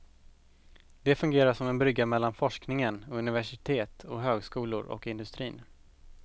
De fungerar som en brygga mellan forskningen vid universitet och högskolor och industrin.